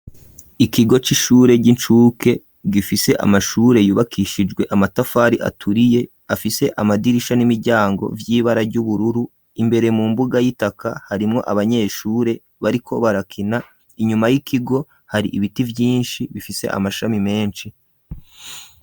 Ikigo c'ishure, ry'incuke, gifise amashure, yubakishijwe amatafari aturiye, afise amadirisha n'imiryango, vy'ibara ry'ubururu; imbere mu mbuga y'itaka, harimwo abanyeshure, bariko barakina; inyuma y'ikigo, hari ibiti vyinshi, bifise amashami menshi.